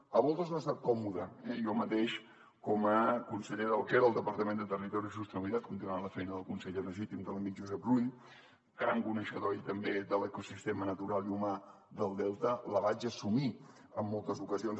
a voltes no ha estat còmode eh jo mateix com a conseller del que era el departament de territori i sostenibilitat continuant la feina del conseller legítim de l’amic josep rull gran coneixedor ell també de l’ecosistema natural i humà del delta la vaig assumir en moltes ocasions